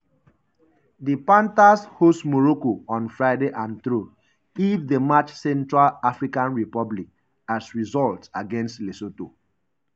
di panthers host morocco on friday and through if they match central african republic’s result against lesotho.